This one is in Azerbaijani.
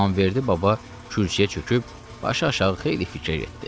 İmamverdi baba kürsüyə çöküb başı aşağı xeyli fikir etdi.